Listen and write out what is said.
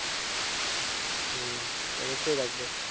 হম অবশ্যই রাখবো।